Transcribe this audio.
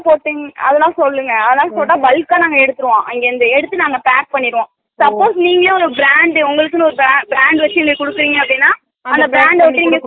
அதுல்லா போட்டிங் அதுல்லா சொல்லுங்க அதுல்லா சொன்னா bulk க எடுத்துருவோம் அங்க எடுத்து நாங்க pack பண்ணிருவோம் suppose நீங்களே உங்களுக்கு ஒரு brand உணளுக்கே ஒரு brand இன்னிக்கு குடுக்குறிங்க அப்பிடினா அந்த brand ட ஒட்டி